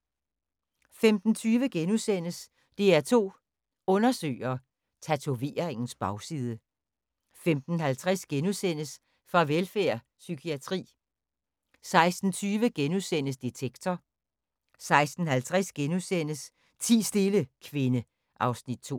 15:20: DR2 Undersøger: Tatoveringens bagside * 15:50: Farvelfærd: Psykiatri * 16:20: Detektor * 16:50: Ti stille, kvinde (Afs. 2)*